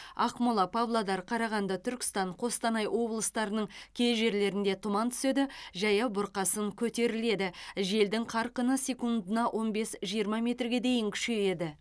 ақмола павлодар қарағанды түркістан қостанай облыстарының кей жерлерінде тұман түседі жаяу бұрқасын көтеріледі желдің қарқыны секундына он бес жиырма метрге дейін күшейеді